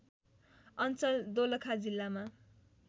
अञ्चल दोलखा जिल्लामा